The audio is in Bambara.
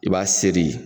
I b'a seri